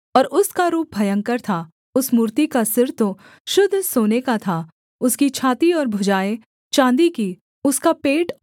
उस मूर्ति का सिर तो शुद्ध सोने का था उसकी छाती और भुजाएँ चाँदी की उसका पेट और जाँघें पीतल की